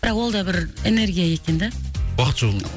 бірақ ол да бір энергия екен да уақыт жоқ